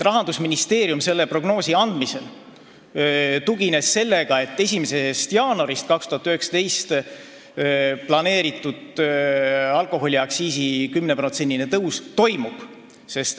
Rahandusministeerium tugines oma prognoosi andmisel sellele, et 1. jaanuarist 2019 planeeritud alkoholiaktsiisi 10%-ne tõus toimub.